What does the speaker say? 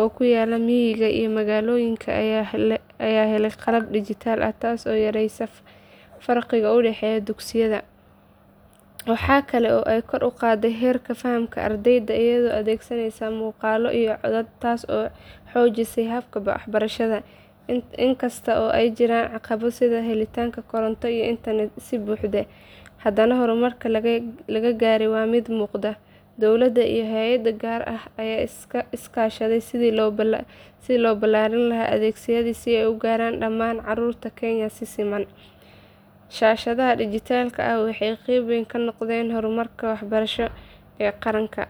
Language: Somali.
oo ku yaalla miyiga iyo magaalooyinka ayaa helay qalab dhijitaal ah taasoo yareysay farqiga u dhexeeya dugsiyada. Waxa kale oo ay kor u qaaday heerka fahamka ardayda iyagoo adeegsanaya muuqaallo iyo codad taas oo xoojisay habka barashada. Inkasta oo ay jiraan caqabado sida helitaanka koronto iyo internet si buuxda, haddana horumarka la gaaray waa mid muuqda. Dowladda iyo hay’adaha gaarka ah ayaa iska kaashaday sidii loo ballaarin lahaa adeegyadaas si ay u gaaraan dhammaan caruurta Kenya si siman. Shaashadaha dhijitaalka ah waxay qayb weyn ka noqdeen horumarka waxbarasho ee qaranka.